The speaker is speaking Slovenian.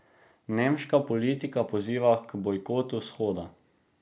Nemška politika poziva k bojkotu shoda.